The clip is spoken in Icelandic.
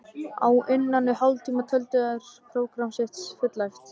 Á innan við hálftíma töldu þeir prógramm sitt fullæft.